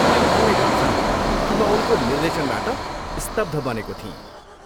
मैले भन्नैपर्छ कि म उनको निर्देशनबाट स्तब्ध बनेको थिएँ।